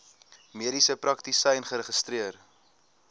mediese praktisyn geregistreer